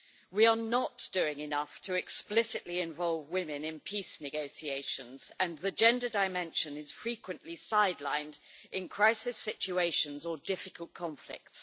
We are not doing enough to explicitly involve women in peace negotiations, and the gender dimension is frequently sidelined in crisis situations or difficult conflicts.